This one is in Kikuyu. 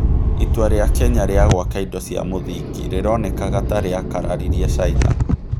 Itua rĩa Kenya rĩa gwaka indo cia mũthingi rĩronekaga ta rĩakararirie China.